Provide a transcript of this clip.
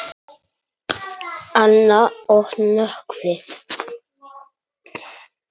Anna og Nökkvi.